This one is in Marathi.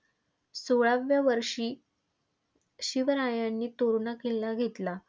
सोळाव्या वर्षी शिवरायांनी तोरणा किल्ला घेतला.